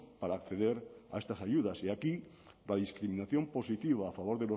para acceder a estas ayudas y aquí la discriminación positiva a favor